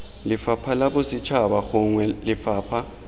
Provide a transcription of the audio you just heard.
lefapha la bosetšhaba gongwe lefapha